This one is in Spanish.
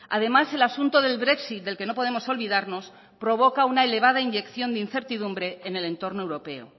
además el asunto del brexit del que no podemos olvidarnos provoca una elevada inyección de incertidumbre en el entorno europeo